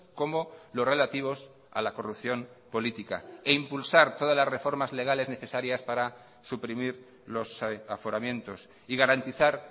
como los relativos a la corrupción política e impulsar todas las reformas legales necesarias para suprimir los aforamientos y garantizar